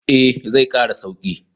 Eh, zai kara sauki.